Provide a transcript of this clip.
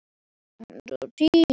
Blóm og ber eru hvít.